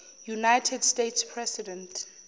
united states president